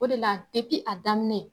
O de la a daminɛ